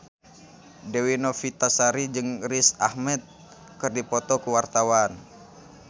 Dewi Novitasari jeung Riz Ahmed keur dipoto ku wartawan